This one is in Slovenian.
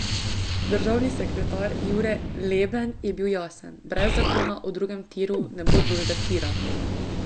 Državni sekretar Jure Leben je bil jasen: 'Brez zakona o drugem tiru ne bo drugega tira'.